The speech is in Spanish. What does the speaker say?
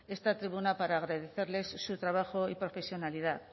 esta tribuna para agradecerles su trabajo y profesionalidad